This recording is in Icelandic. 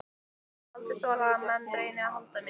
Ég hef aldrei þolað að menn reyni að halda mér.